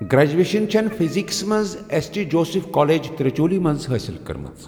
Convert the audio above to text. graduation چھنٖی فزِکسس منٛز S T Joseph college Tiruchirappalli منٛز حٲصِل کٔرمٕژ